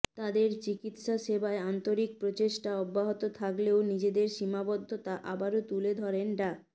তাদের চিকিৎসাসেবায় আন্তরিক প্রচেষ্টা অব্যাহত থাকলেও নিজেদের সীমাবদ্ধতা আবারো তুলে ধরেন ডা